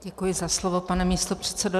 Děkuji za slovo, pane místopředsedo.